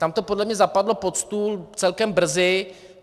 Tam to podle mě zapadlo pod stůl celkem brzy.